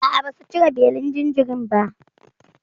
A'a, basu cire belin jinjirin ba?